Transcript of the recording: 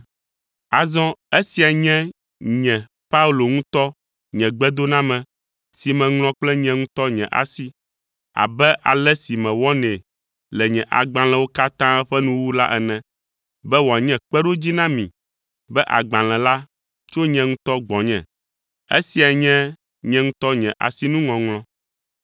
Azɔ esia nye nye Paulo ŋutɔ nye gbedoname si meŋlɔ kple nye ŋutɔ nye asi, abe ale si mewɔnɛ le nye agbalẽwo katã ƒe nuwuwu la ene, be wòanye kpeɖodzi na mi be agbalẽ la tso nye ŋutɔ gbɔnye. Esia nye nye ŋutɔ nye asinuŋɔŋlɔ.